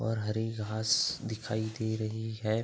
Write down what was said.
और हरी घास दिखाई दे रही है ।